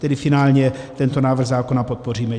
Tedy finálně tento návrh zákona podpoříme.